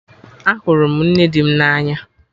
Ahụrụ m nne di m na anya